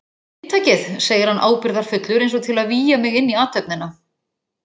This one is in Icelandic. Inntakið, segir hann ábyrgðarfullur eins og til að vígja mig inn í athöfnina.